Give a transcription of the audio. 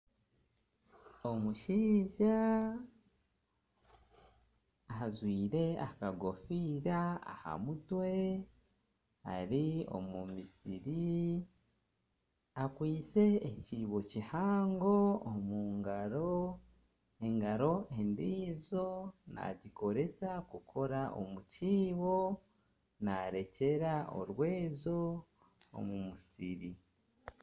Omushaija ajwaire akagofiira aha mutwe, ari omu musiri. Akwaitse ekiibo kihango omu ngaro. Engaro endiijo naagikoresa kukora omu kiibo. Naarekyera orwezo omu musiri.